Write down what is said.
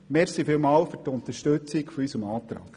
Vielen Dank für die Unterstützung unseres Antrags.